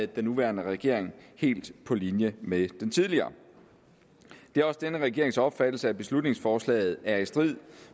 den nuværende regering helt på linje med den tidligere det er også denne regerings opfattelse at beslutningsforslaget er i strid